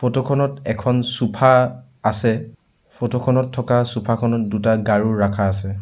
Photo খনত এখন sofa আছে ফটো খনত থকা ছ'ফা খনত দুটা গাৰু ৰাখা আছে।